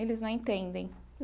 Eles não entendem.